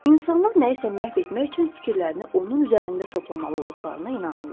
İnsanlar nəyisə məhv etmək üçün fikirlərini onun üzərində toplamalı olduqlarına inanırlar.